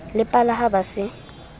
le pala ha ba se